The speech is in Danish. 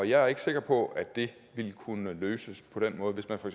jeg er ikke sikker på at det ville kunne løses på den måde hvis man for